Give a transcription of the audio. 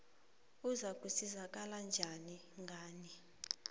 uzakusizakala njani ngani